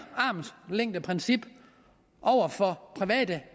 armslængdeprincip over for privat